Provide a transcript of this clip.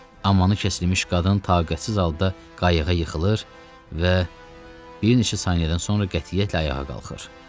Amanı kəsilmiş qadın taqətsiz halda qayığa yıxılır və bir neçə saniyədən sonra qətiyyətlə ayağa qalxır.